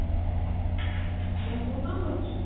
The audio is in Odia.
କଣ କରୁଛି